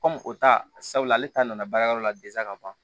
o ta sabula ale ta nana baara yɔrɔ la ka ban